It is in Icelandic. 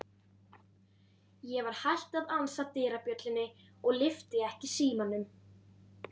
Ég var hætt að ansa dyrabjöllunni og lyfti ekki símanum.